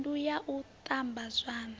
miduba ya u ṱamba zwanḓa